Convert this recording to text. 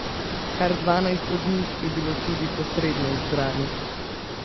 Kar dvanajst od njih je bilo tudi posredno izbranih.